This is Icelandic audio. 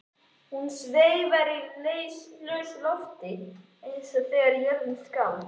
Hún sveif í lausu lofti eins og þegar jörðin skalf.